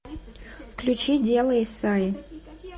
включи дело исайи